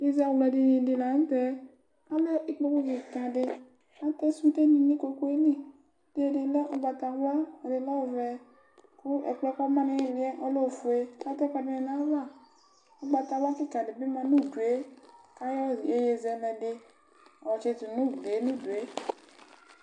ɩzamɛdini dɩ la ntɛ alɛ ikpoku kɩka dɩ akʊɛkʊɗɩ n'ikpokuelɩ edinɩ lɛ ʊgbatawla ɛdɩnɩ lɛ ɔvɛ kʊ ɛkplɔɛ koma nɩlɩɛ ɔlɛ ofʊe katʊ'ɛkʊɛdinɩ n'ava ʊgbatawla kɩka dɩbɩ ma nudue kayɔ ɩyeye zɛlɛledɩ yɔtsɩtʊ n'̃dʊe